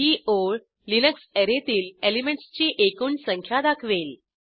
ही ओळ लिनक्स अॅरेतील एलिमेंटसची एकूण संख्या दाखवेल